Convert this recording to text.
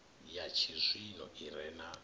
ya tshizwino i re na